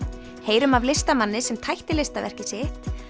heyrum af listamanni sem tætti listaverkið sitt